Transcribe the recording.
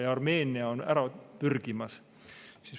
Ja Armeenia on ära pürgimas.